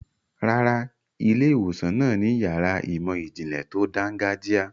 Rárá, ilé-ìwòsàn náà ni yàrá ìmọ̀-ìjìnlẹ̀ tó dáńgájíá.